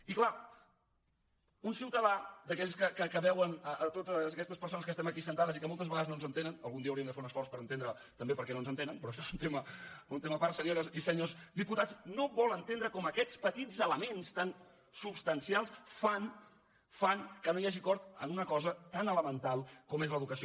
i clar un ciutadà d’aquells que veuen totes aquestes persones que estem aquí assegudes i que moltes vegades no ens entenen algun dia hauríem de fer un esforç per entendre també per què no ens entenen però això és un tema a part senyores i senyors diputats no vol entendre com aquests petits elements tan substancials fan que no hi hagi acord en una cosa tan elemental com és l’educació